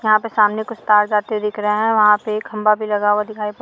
यहाँ पे सामने कुछ तार जाते हुए दिख रहा है वहा पे एक खम्बा भी लगा हुआ दिखाई पड़--